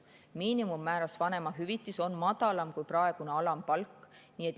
Miinimummääras vanemahüvitis on madalam kui praegune alampalk.